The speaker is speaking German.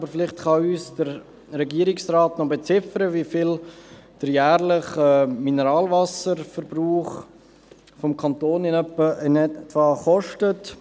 Aber vielleicht kann uns der Regierungsrat noch beziffern, wie viel der jährliche Mineralwasserverbrauch des Kantons in etwa kostet.